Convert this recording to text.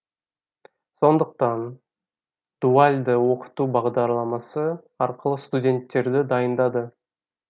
сондықтан дуальды оқыту бағдарламасы арқылы студенттерді дайындады